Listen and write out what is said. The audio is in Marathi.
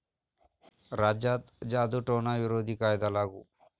राज्यात जादुटोणा विरोधी कायदा लागू